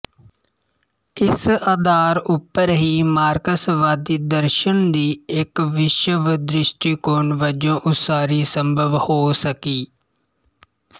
ਇਸ ਆਧਾਰ ਉੱਪਰ ਹੀ ਮਾਰਕਸਵਾਦੀ ਦਰਸ਼ਨ ਦੀ ਇੱਕ ਵਿਸ਼ਵਦ੍ਰਿਸ਼ਟੀਕੋਣ ਵਜੋਂ ਉਸਾਰੀ ਸੰਭਵ ਹੋ ਸਕੀ